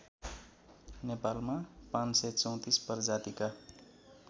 नेपालमा ५३४ प्रजातिका